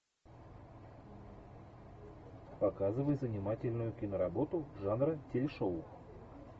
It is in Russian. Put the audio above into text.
показывай занимательную киноработу жанра телешоу